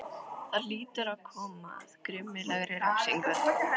Það hlýtur að koma að grimmilegri refsingu.